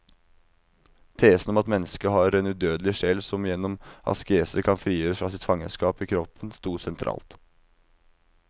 Tesen om at mennesket har en udødelig sjel som gjennom askese kan frigjøres fra sitt fangenskap i kroppen, stod sentralt.